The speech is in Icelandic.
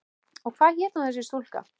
Og hvað hét hún þessi stúlka?